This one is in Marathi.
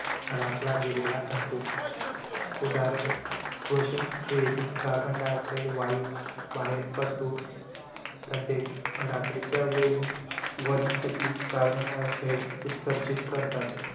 राखला गेलेला असतो. उदाहरण, श्वसनक्रियेतून carbon dioxide वायू बाहेर पडतो. तसेच रात्रीच्या वेळी वनस्पती carbon dioxide उत्सर्जीत करतात.